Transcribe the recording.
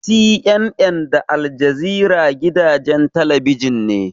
CNN da Aljazeera gidajen talabijin ne.